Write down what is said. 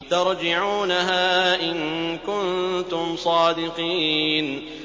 تَرْجِعُونَهَا إِن كُنتُمْ صَادِقِينَ